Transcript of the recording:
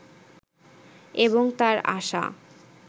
এবং তার আশা